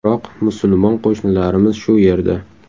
Biroq musulmon qo‘shnilarimiz shu yerda.